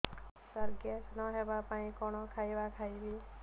ସାର gas ନ ହେବା ପାଇଁ କଣ ଖାଇବା ଖାଇବି